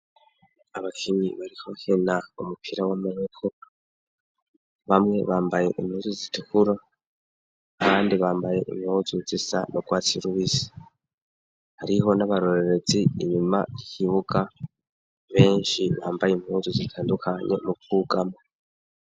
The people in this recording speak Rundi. Abakinyi bariko bakina umupira w'amaboko bamwe bambaye impuzu zitukura abandi bambaye impuzu zisa n'urwatsi rubisi hariho n'abarorerezi inyuma yikibuga benshi bambaye impuzu zitandukanye mu bwugamo.